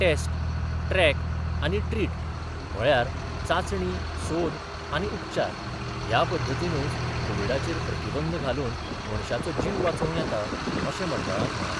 Taste, track आनी treat म्हळ्यार चाचणी, सोद आनी उपचार ह्या पध्दतीनुच कोविडाचेर प्रतिबंध घालून मनशाचो जीव वाचोव येतां, अशे मंडळान म्हळा.